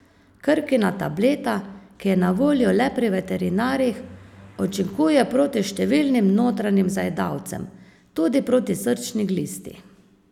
Krkina tableta, ki je na voljo le pri veterinarjih, učinkuje proti številnim notranjim zajedavcem, tudi proti srčni glisti.